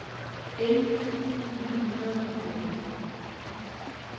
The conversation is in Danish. elleve tusind ni hundrede og fjorten